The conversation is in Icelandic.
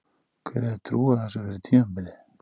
Hver hefði trúað þessu fyrir tímabilið?